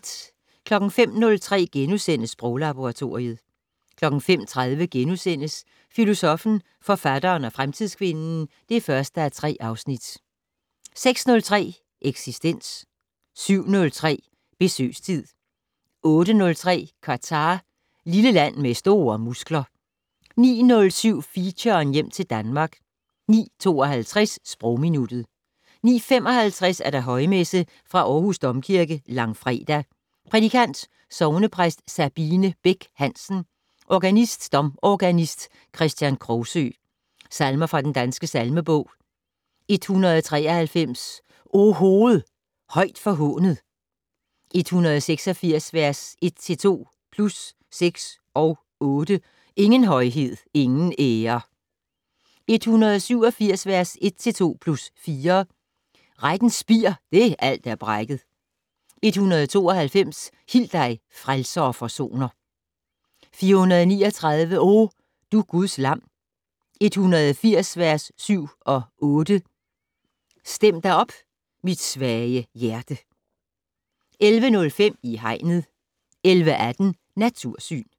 05:03: Sproglaboratoriet * 05:30: Filosoffen, forfatteren og fremtidskvinden (1:3)* 06:03: Eksistens 07:03: Besøgstid 08:03: Qatar - lille land med store muskler 09:07: Feature: Hjem til Danmark 09:52: Sprogminuttet 09:55: Højmesse - Fra Aarhus Domkirke. Langfredag. Prædikant: Sognepræst Sabine Bech Hansen. Organist: Domorganist Kristian Krogsøe. Salmer fra Den Danske Salmebog: 193 "O hoved, højt forhånet". 186 vers 1-2 + 6 og 8 "Ingen højhed, ingen ære". 187 vers 1-2 + 4 "Rettens spir, det alt er brækket". 192 "Hil dig, frelser og forsoner". 439 "O, du Guds lam". 180 vers 7-8 "Stem da op, mit svage hjerte". 11:05: I Hegnet 11:18: Natursyn